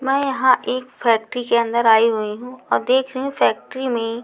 मैं यहाँ एक फैक्ट्री के अंदर आई हुई हूँ औ देख रही हूँ फैक्ट्री में --